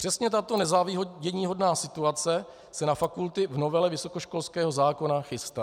Přesně tato nezáviděníhodná situace se na fakulty v novele vysokoškolského zákona chystá.